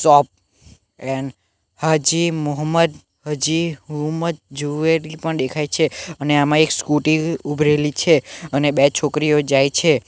Chop એન હાજી મોહમ્મદ હજી હુમ્મદ જુવેરી પણ દેખાઈ છે અને આમાં એક સ્કૂટી ઉભ રેલી છે અને બે છોકરીઓ જાય છે.